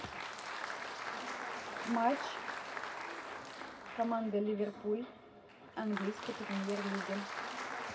матч команды ливерпуль английской премьер лиги